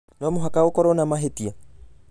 No mũhaka gukorũo na mahĩtia!